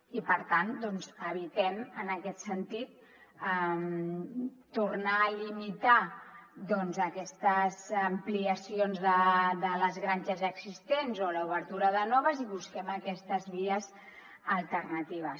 i per tant doncs evitem en aquest sentit tornar a limitar aquestes ampliacions de les granges ja existents o l’obertura de noves i busquem aquestes vies alternatives